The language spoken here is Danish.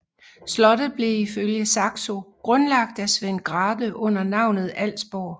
Slottet blev ifølge Saxo grundlagt af Svend Grathe under navnet Alsborg